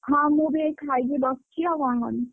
ହଁ ମୁଁ ବି ଏଇ ଖାଇକି ବସଚି ଆଉ କଣ କରିବି।